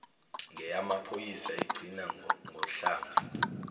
ngeyamaphoyisa igcina ngohlamvu